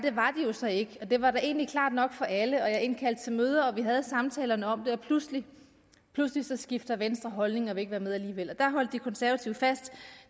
så ikke og det var da egentlig klart nok for alle jeg indkaldte til møder og vi havde samtalerne om det og pludselig skifter venstre holdning og vil ikke være med alligevel der holder de konservative fast